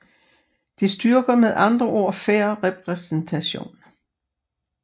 Det styrker med andre ord fair repræsentation